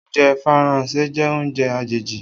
Oúnjẹ Faransé jẹ́ oúnjẹ àjèjì.